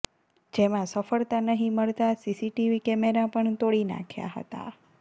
જેમાં સફળતા નહીં મળતા સીસીટીવી કેમેરા પણ તોડી નાંખ્યા હતા